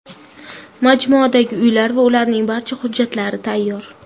Majmuadagi uylar va ularning barcha hujjatlari tayyor.